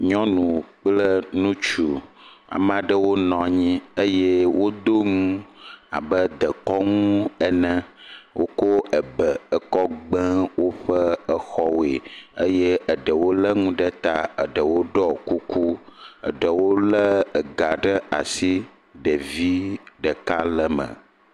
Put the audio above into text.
Nyɔnu kple ŋutsu, amea ɖewo nɔ anyi eye wodo nu abe dekɔnu ene. Woko ebe ekɔ gbe woƒe exɔwoe eye eɖewo lé nu ɖe ta, eɖewo ɖɔ kuku, eɖewo lé ega ɖe asi, ɖevi ɖeka le me.